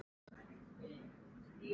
Hvað viljið þið!